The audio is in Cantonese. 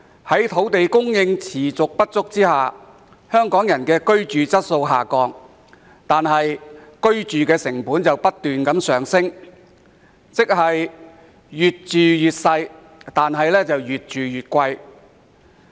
由於土地供應持續不足，香港人的居住質素一直下降，但居住成本卻不斷上升，即是越住越細、越住越貴。